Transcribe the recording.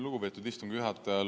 Lugupeetud istungi juhataja!